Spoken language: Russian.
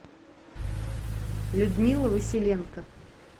людмила василенко